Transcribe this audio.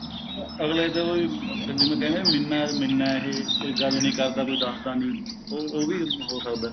ਅਗਲੇ ਚ ਉਹੀ ਜਿਵੇਂ ਕਹਿੰਦੇ ਮਿੰਨਾ ਮਿੰਨਾ ਇਹ ਕੋਈ ਗੱਲ ਨਹੀਂ ਕਰਦਾ ਕੋਈ ਦੱਸ ਦਾ ਨਹੀਂ ਉਹ ਉਹ ਵੀ ਹੋ ਸਕਦਾ